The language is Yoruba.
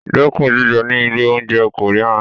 Dẹ́kun jíjẹ ní ilé-oúnjẹ Korean.